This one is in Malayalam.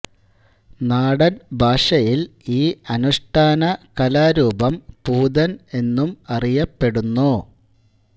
നാടൻ ഭാഷയിൽ ഈ അനുഷ്ഠാന കലാരൂപം പൂതൻ എന്നും അറിയപ്പെടുന്നു